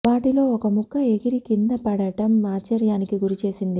వాటిలో ఒక ముక్క ఎగిరి కింద పడటం ఆశ్చర్యానికి గురి చేసింది